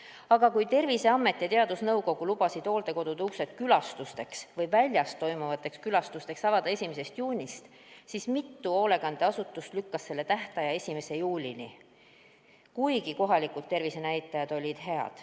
Aga kui Terviseamet ja teadusnõukoda lubasid hooldekodude uksed tavakülastusteks või väljas toimuvateks külastuseks avada 1. juunil, siis mitu hoolekandeasutust lükkas selle tähtaja 1. juulile, kuigi kohalikud tervisenäitajad olid head.